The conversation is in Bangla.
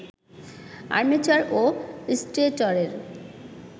আর্মেচার ও স্টেটরের